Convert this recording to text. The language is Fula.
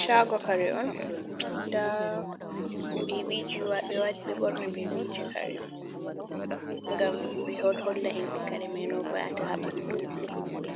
chaago kare on, ndaa beebiiji ɓe borni beebiiji kare ngam ɓe holla himɓe kare may no va’ata haa ɓanndu himbe,